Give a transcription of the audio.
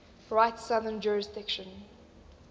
rite's southern jurisdiction